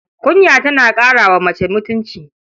Kunya tana ƙara wa mace mutunci.